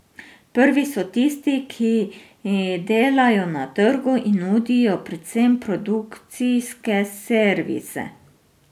Prvi so tisti, ki delajo na trgu in nudijo predvsem produkcijske servise.